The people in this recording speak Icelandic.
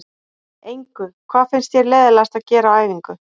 Engu Hvað finnst þér leiðinlegast að gera á æfingu?